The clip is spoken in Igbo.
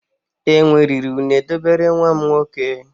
Enwe riri une dobere nwa m nwoke.